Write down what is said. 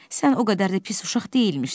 Sən o qədər də pis uşaq deyilmişsən.